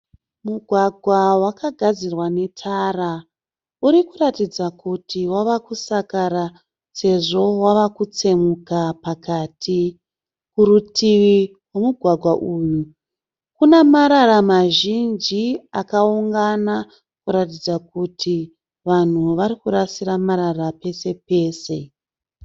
Mugwagwa wakagadzirwa netara urikuratidza kuti wava kusakara sezvo wava kutsemuka pakati. Kurutivi kwomugwàgwa uyu Kuna marara mazhinji akaungana kuratidza kuti vanhu vari kurasira marara pesepese.